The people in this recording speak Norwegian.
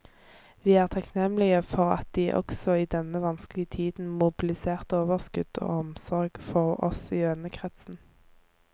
Vi er takknemlige for at de også i denne vanskelige tiden mobiliserte overskudd og omsorg for oss i vennekretsen.